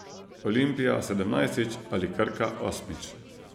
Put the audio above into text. Olimpija sedemnajstič ali Krka osmič?